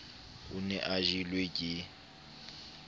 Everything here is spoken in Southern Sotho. o ne a jelwe ke